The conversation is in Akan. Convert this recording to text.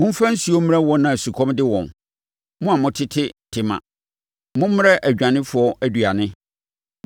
Momfa nsuo mmrɛ wɔn a sukɔm de wɔn; mo a motete Tema, mommrɛ adwanefoɔ aduane.